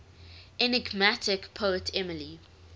enigmatic poet emily